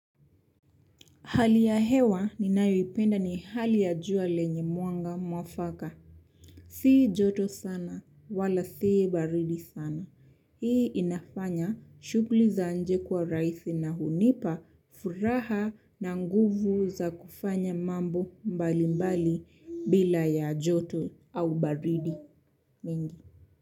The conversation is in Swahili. Hali ya hewa ninayoipenda ni hali ya jua lenye mwanga mwafaka. Si joto sana, wala si baridi sana. Hii inafanya shughuli za inje kuwa rahisi na hunipa, furaha na nguvu za kufanya mambo mbali mbali bila ya joto au baridi mingi.